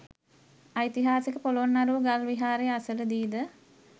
ඓතිහාසික පොළොන්නරුව ගල් විහාරය අසලදීද